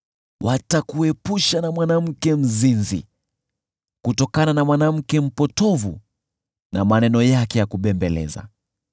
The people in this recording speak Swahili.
watakuepusha na mwanamke mzinzi, kutokana na mwanamke mpotovu na maneno yake ya kubembeleza.